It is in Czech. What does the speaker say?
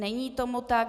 Není tomu tak.